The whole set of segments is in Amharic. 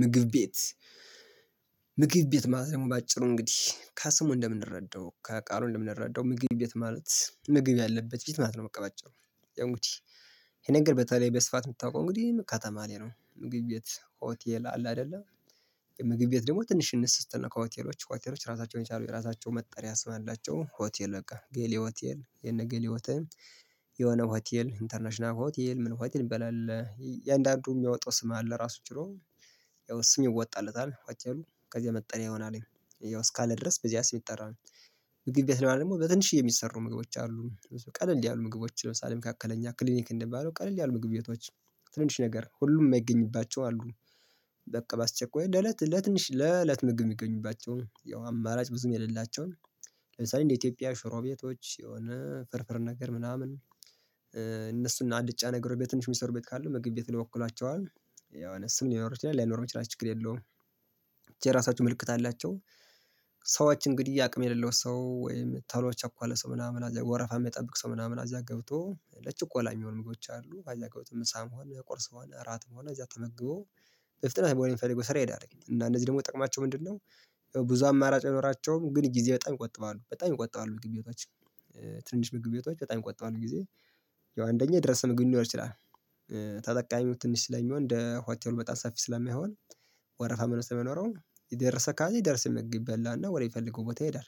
ምግብ ቤት ምግብ ቤት ማለት ደግሞ በአጭሩ እንግዲህ ከስሙ እንደምንረዳው ከቃሉ እንደምንረዳው ምግብ ቤት ማለት ምግብ ያለበት ቤት ማለት ነው በቃ ባጭሩ። እንግዲህ ይሄ ነገር በተለይ በስፋት የሚታወቀው እንግዲህ ከተማ ላይ ነው። ምግብ ቤት፣ ሆቴል አለ አይደለ ምግብ ቤት ደግሞ ትንሽ እንስ ስትል ነው ከሆቴሎች ሆቴሎች ራሳቸውን የቻሉ የራሳቸው መጠሪያ ስም አላቸው ሆቴል በቃ ጌሌ ሆቴል የነ ጌሌ ሆቴል፣ የሆነ ሆቴል፣ ኢንተርናሽናል ሆቴል፣ ምን ሆቴል ሚባል አለ የእያንዳንዱ የሚያወጣው ስም አለ ራሱን ችሎ ያው ስም ይወጣለታል ሆቴሉ ከዚያ መጠለያ ይሆናል ያው እስካለ ድረስ በዚያ ስም ይጠራል። ምግብ ቤት ላይ ደግሞ በትንሽዬ የሚሰሩ ምግቦች አሉ ቀለል ያሉ ምግቦች ለምሳሌ መካከለኛ ክሊኒክ እንደሚባለው ቀለል ያሉ ምግብ ቤቶች ትንንሽ ነገር ሁሉም የማይገኝባቸው አሉ። በቃ በአስቸኳይ ለለት ለትንሽ ለለት ምግብ የሚገኙባቸው ያው አማራጭ ብዙም የሌላቸውን ለምሳሌ እንደ ኢትዮጵያ ሽሮ ቤቶች፣ የሆነ ፍርፍር ነገር ምናምን እነሱን አልጫ ነገሮች በትንሽ ሚሰሩ ቤት ካሉ ምግብ ቤት ይወክላቸዋል የሆነ ስም ሊኖረው ይችላል ላይኖረውች ይችላል ችግር የለውም ብቻ የራሳቸው ምልክት አላቸው። ሰዎች እንግዲህ አቅም የሌለው ሰው ወይም ቶሎ የቸኮለ ሰው ምናምን እዛ ወረፋ የማይጠብቅ ሰው ምናምን እዛ ገብቶ ለችኮላ የሚሆኑ ምግቦች አሉ እዛ ገብቶ ምሳ ሆነ ቁርስ ሆነ እራትም ሆነ እዛ ተመግቦ በፍጥነት ወደሚፈልገው ስራ ይሄዳል እና እነዚህ ደግሞ ጥቅማቸው ምንድነው? ብዙ አማራጭ አይኖራቸውም ግን ጊዜ በጣም ይቆጥባሉ በጣም ይቆጥባሉ ምግቤቶች ትንንሽ ምግብ ቤቶች በጣም ይቆጥባሉ ጊዜ። ያው አንደኛ የደረሰ ምግብ ሊኖር ይችላል። ተጠቃሚው ትንሽ ስለሚሆን እንደ ሆቴሉ በጣም ሰፊ ስለማይሆን ወረፋ ምናምን ስለማይኖረው የደረሰ ካለ የደረሰ ምግብ ይበላና ወደፈለገው ቦታ ይሄዳል።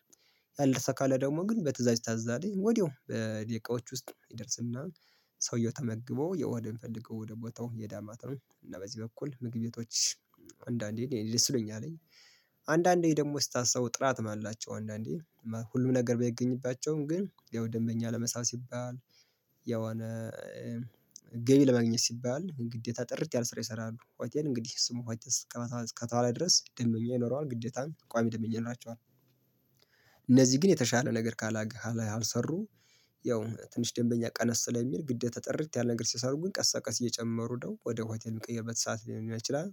ያልደርሰ ካለ ደግሞ ግን በትእዛዝ ይታዛልኝ ወዲያው በደቂቃዎች ውስጥ ይደርስና ሰውየው ተመግቦ የ ወደሚፈልገው ወደ ቦታው ይሄዳል ማለት ነው እና በዚህ በኩል ምግብ ቤቶች አንዳንዴ እኔ ደስ ነው ያለኝ። አንዳንዴ ደግሞ ስታስበው ጥራትም አላቸው አንዳንዴ ሁሉም ነገር ባይገኝባቸውም ግን ያው ደንበኛ ለመሳብ ሲባል የሆነ ገቢ ለማግኘት ሲባል ግዴታ ጥርት ያለ ስራ ይሰራሉ ሆቴል እንግዲህ ስሙ ሆቴል እስከተባለ ድረስ ደምበኛ ይኖረዋል ግዴታም ቋሚ ደምበኛ ይኖራቸዋል። እነዚህ ግን የተሻለ ነገር ካላገህ ካልሰሩ ያው ትንሽ ደንበኛ ቀነስ ስለሚል ግዴታ ጥርት ያለ ነገር ሲሰሩ ግን ቀስ በቀስ እየጨመሩ ሂደው ወደ ሆቴል የሚቀይርበት ሰዓት ሊሆን ይችላል።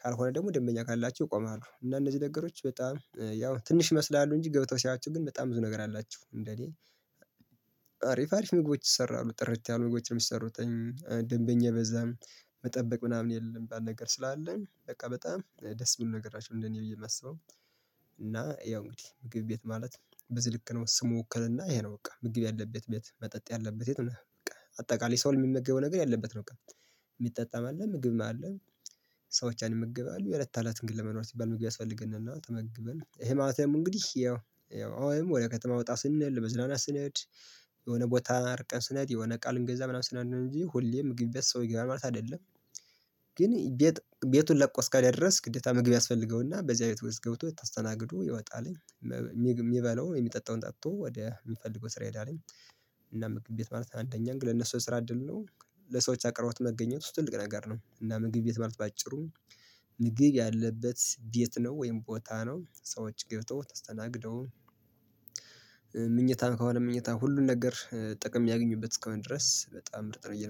ካልሆነ ደግሞ ደንበኛ ካላቸው ይቆማሉ እና እነዚህ ነገሮች በጣም ያው ትንሽ ይመስላሉ እንጂ ገብተው ሲያይዋቸው ግን በጣም ብዙ ነገር አላቸው እንደኔ አሪፍ አሪፍ ምግቦች ይሰራሉ ጥርት ያሉ ምግቦች ነው የሚሰሩት። ደንበኛ በዛም መጠበቅ ምናምን የለም ሚባል ነገር ስላለ በቃ በጣም ደስ የሚል ነገራችሁ እንደኔ ብዬ የማስበው። እና ያው እንግዲህ ምግብ ቤት ማለት በዚህ ልክ ነው ስሙ ውክልና ይሄ ነው በቃ ምግብ ያለበት ቤት መጠጥ ያለበት ቤት ነው በቃ አጠቃላይ ሰው የሚመገበው ነገር ያለበት ነው በቃ። የሚጠጣም አለ ምግብም አለ ሰዎች ያን ይመገባሉ የእለተለትን ግን ለመኖር ሲባል ምግቢ ያስፈልገናል ተመግበን ይሄ ማለትም እንግዲህ ያው ወይም ወደ ከተማ ወጣ ስንል ለመዝናናት ስንሄድ የሆነ ቦታ አርቀን ስንሄድ የሆነ እቃ ልንገዛ ምናምን ስንሄድ ነው እንጂ ሁሌ ምግብ ቤት ሰው ይገባል ማለት አይደለም። ግን ቤት ቤቱን ለቆ እስከሄደ ድረስ ግዴታ ምግብ ያስፈልገውና በዚህ አይነት ውስጥ ገብቶ ተስተናግዶ ይወጣልኝ። የሚበላውን የሚጠጣውን ጠጥቶ ወደሚፈልገው ስራ ይሄዳለኝ እና ምግብ ቤት ማለት አንደኛ እንግዲህ ለነሱ የስራ እድል ነው። ለሰዎች አቅርቦት መገኘት ውስጥ ትልቅ ነገር ነው። እና ምግብ ቤት ማለት በአጭሩ ምግብ ያለበት ቤት ነው ወይም ቦታ ነው ሰዎች ገብተው ተስተናግደው መኝታም ከሆነ መኝታን ሁሉን ነገር ጥቅም ሚያገኙበት እስከሆነ ድረስ በጣም ምርጥ ነው ብዬ